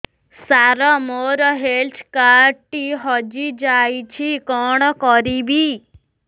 ସାର ମୋର health card ଟି ହଜି ଯାଇଛି କଣ କରିବି